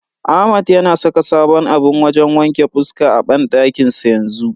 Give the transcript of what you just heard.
Ahmad yana saka sabon abun wajen wanke fuska a banɗakin sa yanzu.